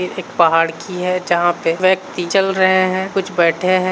ये एक पहाड़ की है जहां पे व्यक्ति चल रहे है कुछ बैठे है।